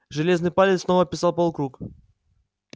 железный палец снова описал полукруг